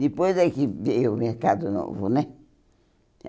Depois é que veio o Mercado Novo, né?